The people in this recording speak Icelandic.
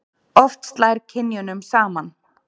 Oft slær kynjunum saman.